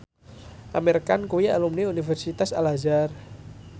Amir Khan kuwi alumni Universitas Al Azhar